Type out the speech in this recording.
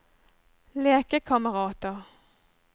lekekamerater